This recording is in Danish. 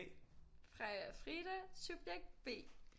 Freja-Frida subjekt B